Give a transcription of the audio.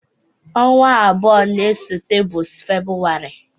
Ọnwa abụọ na-esote bụ Febụwarị.